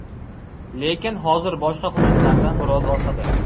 Lekin hozir boshqa hududlardan biroz orqada.